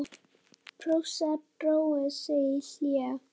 Prússar drógu sig í hlé.